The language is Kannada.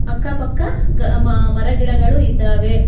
ಅಕ್ಕ ಪಕ್ಕ ಗ ಮ ಮರ ಗಿಡಗಳು ಇದ್ದಾವೆ.